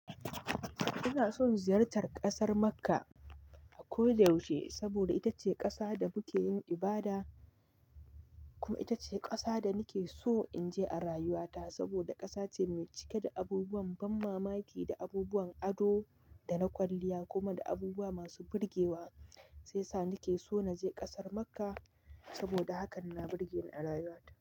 Ina son ziyartar kasar Makkah a ko da yaushe saboda ita ce ƙasa da muke yin ibada. Kuma ita ce ƙasa da nike so in je a rayuwa ta saboda ƙasa ce mai cike da abubuwan ban mamaki da abubuwan ado da na kwalliya kuma da abubuwa masu burgewa. Shi sa nike so na je ƙasar Makkah saboda hakan na burge ni a rayuwa ta.